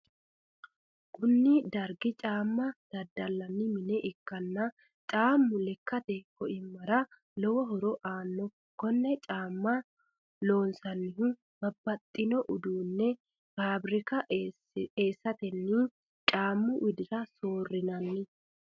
kuni dargi caamma daddalanni mine ikkanna caammu lekkate coi'mara lowo horo aanno. konne caamma loonsannihu babbaxino uduunne fabirika eesatenni caammu widira soorinanni.